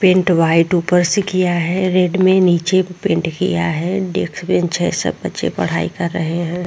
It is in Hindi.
पेंट वाइट ऊपर से किया है रेड में नीचे पेंट किया है डेस्क बेंच है सब बच्चे पढ़ाई कर रहे हैं।